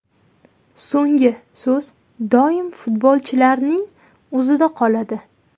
So‘nggi so‘z doim futbolchilarning o‘zida qoladi.